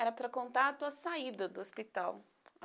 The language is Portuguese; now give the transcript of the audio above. Era para contar a tua saída do hospital.